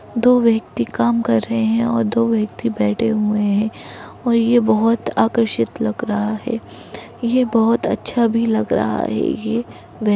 दो व्यक्ति काम कर रहे हैं और दो व्यक्ति बैठे हुए हैं और ये बोहोत आकर्षित लग रहा है। ये बोहोत अच्छा भी लग रहा है। ये बे --